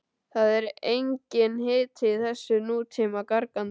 Það er enginn hiti í þessu nútíma gargani